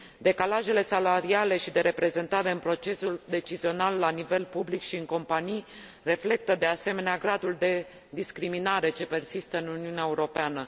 Decalajele salariale și de reprezentare în procesul decizional la nivel public și în companii reflectă, de asemenea, gradul de discriminare ce persistă în Uniunea Europeană.